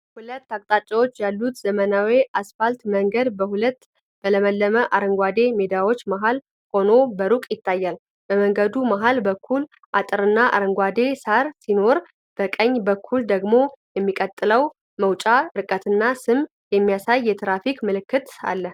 ሁለት አቅጣጫዎች ያሉት ዘመናዊ አስፋልት መንገድ በሁለት በለመለሙ አረንጓዴ ሜዳዎች መሀል ሆኖ በሩቅ ይታያል። በመንገዱ መሃል በኩል አጥርና አረንጓዴ ሣር ሲኖር፣ በቀኝ በኩል ደግሞ የሚቀጥለውን መውጫ ርቀትና ስም የሚያሳይ የትራፊክ ምልክት አለ።